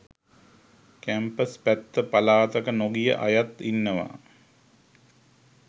campus පැත්ත පලාතක නොගිය අයත් ඉන්නවා